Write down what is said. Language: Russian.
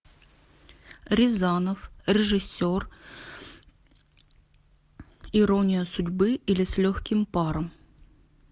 рязанов режиссер ирония судьбы или с легким паром